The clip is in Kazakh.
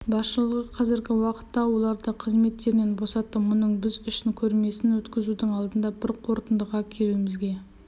басшылығы қазіргі уақытта оларды қызметтерінен босатты мұның біз үшін көрмесін өткізудің алдында бір қорытындыға келуімізге